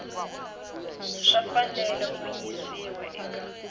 swi fanele ku yisiwa eka